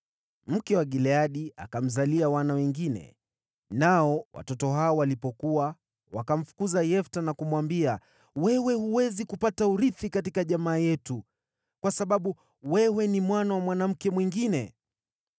Mke wa Gileadi akamzalia wana wengine, nao watoto hao walipokua, wakamfukuza Yefta na kumwambia, “Wewe huwezi kupata urithi katika jamii yetu, kwa sababu wewe ni mwana wa mwanamke mwingine.”